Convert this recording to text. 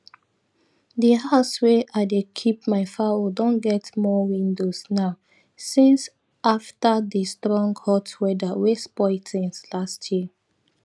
di house wey i dey keep my fowl don get more window now since afta di strong hot weather wey spoil tins last year